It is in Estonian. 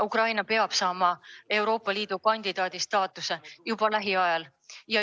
Ukraina peab saama Euroopa Liidu kandidaatriigi staatuse juba lähiajal.